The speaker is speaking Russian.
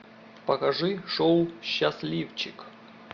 покажи шоу счастливчик